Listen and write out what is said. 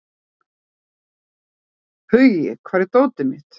Hugi, hvar er dótið mitt?